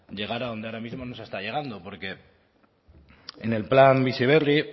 llegar adonde ahora mismo no se está llegando porque en el plan bizi berri